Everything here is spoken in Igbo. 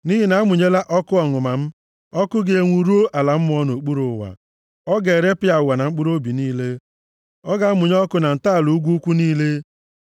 Nʼihi na a mụnyela ọkụ nʼọnụma m, ọkụ ga-enwu ruo ala mmụọ nʼokpuru ụwa. Ọ ga-erepịa ụwa na mkpụrụobi niile, ọ ga-amụnye ọkụ na ntọala ugwu ukwu niile.